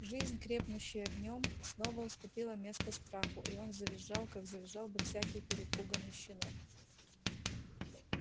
жизнь крепнущая в нем снова уступила место страху и он завизжал как завизжал бы всякий перепуганный щенок